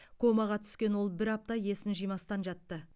комаға түскен ол бір апта есін жимастан жатты